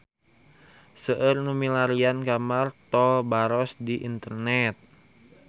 Seueur nu milarian gambar Tol Baros di internet